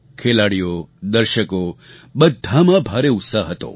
ખેલાડીઓદર્શકો બધામાં ભારે ઉત્સાહ હતો